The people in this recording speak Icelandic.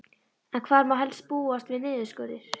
En hvar má helst búast við niðurskurði?